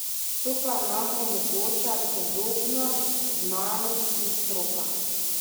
To pa nam omogoča sodobna znanost in stroka !